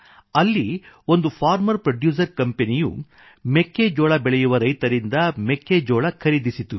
ಅಲ್ಲಿ ಒಂದು farmer producer ಕಂಪೆನಿಯು ಮೆಕ್ಕೆ ಜೋಳ ಬೆಳೆಯುವ ರೈತರಿಂದ ಮೆಕ್ಕೆ ಜೋಳ ಖರೀದಿಸಿತು